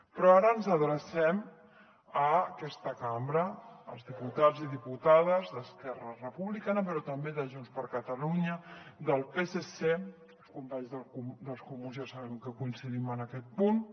però ara ens adrecem a aquesta cambra als diputats i diputades d’esquerra republicana però també de junts per catalunya del psc els companys dels comuns ja sabem que coincidim en aquest punt